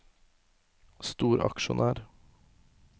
storaksjonær